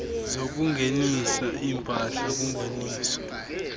zokungenisa iimpahla kungeniso